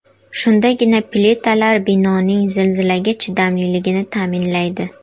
Shundagina plitalar binoning zilzilaga chidamliligini ta’minlaydi.